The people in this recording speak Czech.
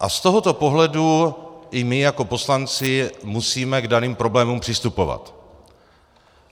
A z tohoto pohledu i my jako poslanci musíme k daným problémům přistupovat.